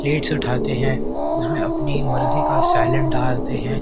Plates उठाते हैं उसमें अपनी मर्जी का सेलिड डालते हैं।